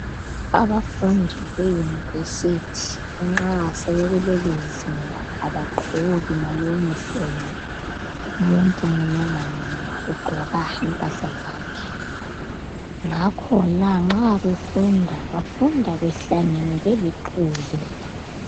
Abafundi be univesithi nxa sebekuleli zinga abagqoki ma yunifomu. Umuntu munye ngamunye ugqoka impahla zakhe. Ngakhona nxa befunda behlangene belixuku.